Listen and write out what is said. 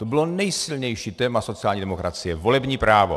To bylo nejsilnější téma sociální demokracie, volební právo.